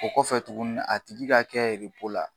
O kɔfɛ tuguni a tigi ka kɛ la